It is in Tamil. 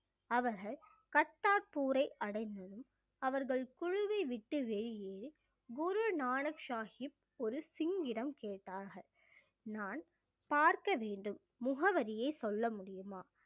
அவர்கள் கர்த்தாபூரை அடைந்ததும் அவர்கள் குழுவை விட்டு வெளியேறி குரு நானக் சாஹிப் ஒரு சிங்கிடம் கேட்டார்கள் நான் பார்க்க வேண்டும் முகவரியை சொல்ல முடியுமா?